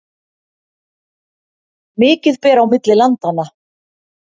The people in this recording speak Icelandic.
Mikið ber á milli landanna